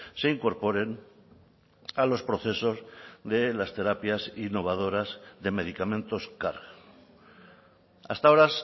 se incorporen a los procesos de las terapias innovadoras de medicamentos car hasta ahora